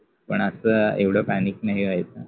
पन अस एवढ पॅनिक नाहि व्हायच.